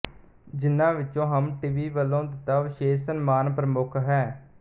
ਜਿਨ੍ਹਾਂ ਵਿਚੋਂ ਹਮ ਟੀਵੀ ਵਲੋਂ ਦਿੱਤਾ ਵਿਸ਼ੇਸ਼ ਸਨਮਾਨ ਪ੍ਰਮੁੱਖ ਹੈ